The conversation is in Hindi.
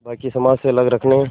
बाक़ी समाज से अलग रखने